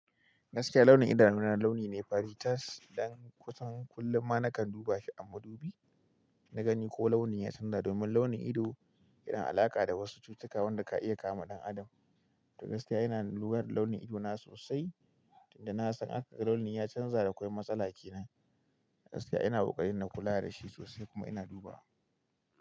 Gaskiya launin idanu na launi ne fari tas dan kusan kullum ma na kan duba shi a madubi na gani ko launin ya canza. Domin launin ido yana alaƙa da wasu cututtuka waɗanda ka iya kama dan adam. To gaskiya ina lura launin ido na sosai. Inda na san aka ga launin ya canza da akwai matsala kenan. Gaskiya ina kokarin na kula da shi sosai kuma ina duba.